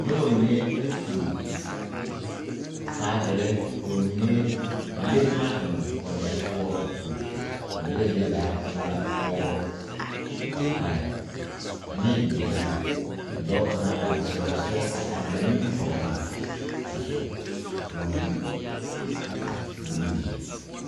moba mine la tuo baagere ka ba mine a le boma eŋ wagyɛre poɔ a tuo ba yaga zie zaa e la pɔgeba a are ane bibilii ka dɔɔ kaŋa a are teɛ o seɛ ba nimitɔɔreŋ a su bonbulu mine.